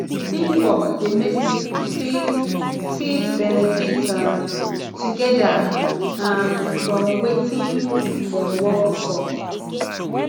teamwork de make pipo fit fit benefit um together um from wetin dem work for